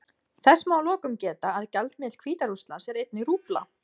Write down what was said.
Þess má að lokum geta að gjaldmiðill Hvíta-Rússlands er einnig rúbla.